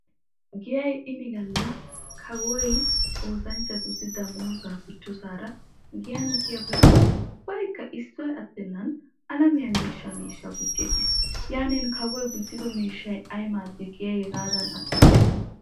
Giyay ini galla kawoy oosanchchatussi damoozaa gujjosaara giyan diyaabay ubbaykka issoy attennan alamiyaa miishshaa miishshaa gujjiyaaggis. Yaanin kawoy gujjido miishshay ay maaddii giyay hegaadaan adhdhiichchikko?